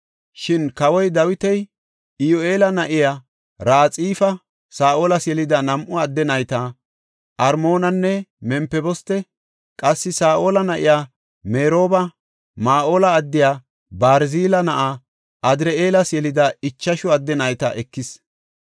Shin kawoy Dawiti Iyoheela na7iya Raxifa Saa7olas yelida nam7u adde nayta, Armoonanne Mempiboste, qassi Saa7ola na7iya Merooba, Mahoola addiya Barzile na7aa Adir7eelas yelida ichashu adde nayta ekis.